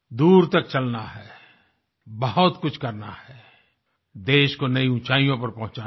दूर तक चलना है बहुत कुछ करना हैदेश को नई ऊंचाइयों पर पहुँचना है